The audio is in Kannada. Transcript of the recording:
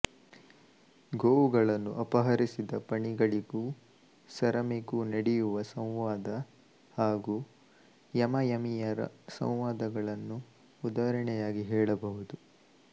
ಗೋವುಗಳನ್ನು ಅಪಹರಿಸಿದ ಪಣಿಗಳಿಗೂ ಸರಮೆಗೂ ನಡೆಯುವ ಸಂವಾದ ಹಾಗು ಯಮಯಮಿಯರ ಸಂವಾದಗಳನ್ನು ಉದಾಹರಣೆಯಾಗಿ ಹೇಳಬಹುದು